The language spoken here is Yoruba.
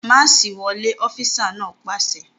Máàṣì wọlé! Ọfísà náà pàṣẹ